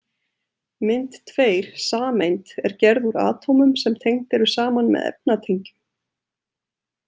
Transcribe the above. Mynd tveir Sameind er gerð úr atómum sem tengd eru saman með efnatengjum.